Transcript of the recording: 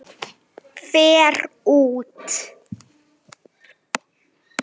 Fer út.